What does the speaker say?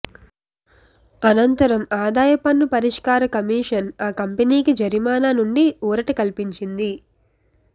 అనంతరం ఆదాయ పన్ను పరిష్కార కమిషన్ ఆ కంపెనీకి జరిమానా నుండి ఊరట కల్పించింది